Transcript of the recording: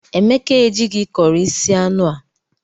Emeka ejighi curị sie anụ a.